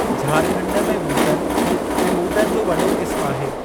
झारखंड में ॿूटनि ऐं ॿूटनि जो वॾो क़िस्मु आहे।